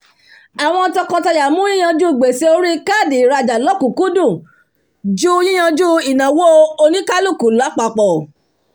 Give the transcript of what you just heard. àwọn tọkọtaya mú yí yanjú gbèsè orí káàdì ìrajà lọkùkúndùn ju yiyanju ìnáwó onikaluku lápapọ̀